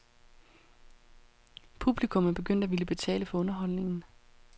Publikum er begyndt at ville betale for underholdningen.